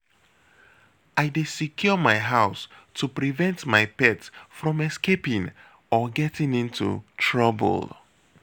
I dey secure my house to prevent my pet from escaping or getting into trouble.